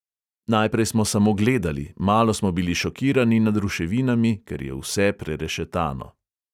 Najprej smo samo gledali, malo smo bili šokirani nad ruševinami, ker je vse prerešetano.